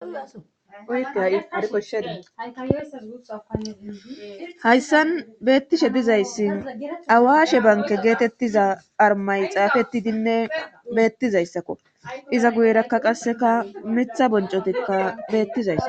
uyteaoshsheihayssan beettishe dizayssi awaashe banke geetettiza armay xaafetidinne beettizayssakko iza guyerakka qasseka mitha boncotikka beettizays